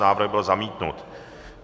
Návrh byl zamítnut.